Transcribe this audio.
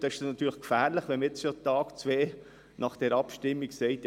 Es ist natürlich gefährlich, wenn man bereits ein, zwei Tage nach der Abstimmung sagt: